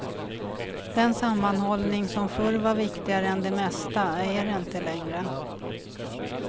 Den sammanhållning som förr var viktigare än det mesta är det inte längre.